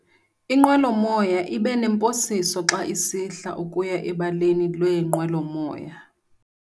Inqwelomoya ibe nemposiso xa isihla ukuya ebaleni leenqwelomoya.